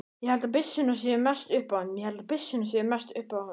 Ég held að byssurnar séu mest upp á punt.